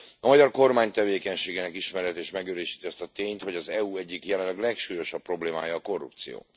A magyar kormány tevékenységének ismerete is megerősíti azt a tényt, hogy az EU egyik jelenleg legsúlyosabb problémája a korrupció.